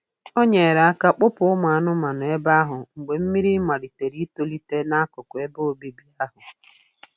O nyere aka kpọpụ ụmụ anụmanụ ebe ahụ mgbe mmiri malitere itolite n'akụkụ ebe obibi ahụ.